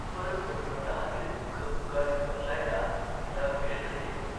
परंतु स्वतःचे दुख उगाळीत बसायला तिला वेळ नसे.